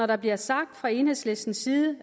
der bliver sagt fra enhedslistens side